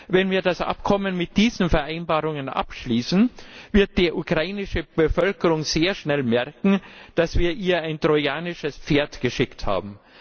Wenn wir das Abkommen mit diesen Vereinbarungen abschließen, wird die ukrainische Bevölkerung sehr schnell merken, dass wir ihr ein trojanisches Pferd geschickt haben.